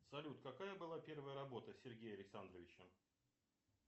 салют какая была первая работа сергея александровича